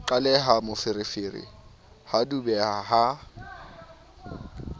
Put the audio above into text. qaleha moferefere ha dubeha ha